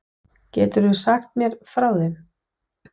Geturðu aðeins sagt mér frá þeim?